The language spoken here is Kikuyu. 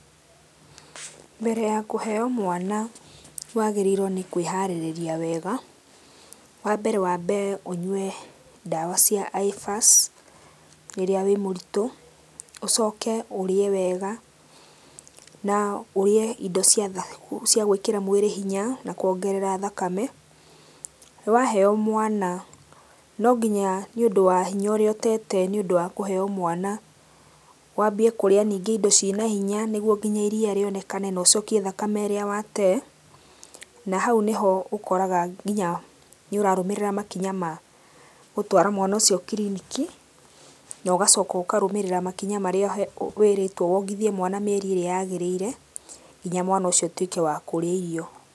Mbere ya kũheo mwana wagĩĩrĩirwo nĩ kwĩharĩria wega. Wa mbere wabe ũnyue ndawa cia Iphas rĩrĩa wĩ mũritũ, ũcoke ũrĩe wega na ũrĩe indo cia gwĩkĩra mwĩrĩ hinya na kũongerera thakame. Waheo mwana, no nginya nĩ ũndũ wa hinya ũrĩa ũtete nĩ ũndũ wa kũheo mwana, waambie kũrĩa ningĩ indo cie na hinya nĩguo nginya iria ríonekane na ũcokie thakame ĩrĩa watee, nahau nĩ ho ũkoraga nginya nĩ ũrarũmĩrĩra makinya ma gũtwara mwana ũcio kiriniki na ũgacoka ũkarũmĩrĩra makinya marĩa wĩrĩtwo wongithie mwana mĩeri ĩrĩa yaagĩrĩire nginya mwana ũcio atuĩke wa kũrĩa irio.